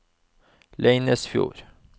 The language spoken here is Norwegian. Leinesfjord